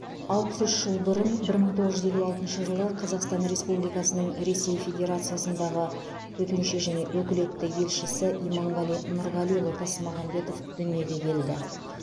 алпыс үш жыл бұрын бір мың тоғыз жүз елу алтыншы жылы қазақстан республикасының ресей федерациясындағы төтенше және өкілетті елшісі иманғали нұрғалиұлы тасмағамбетов дүниеге келді